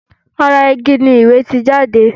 ará Igi ni ìwé ti jáde